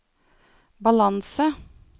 balanse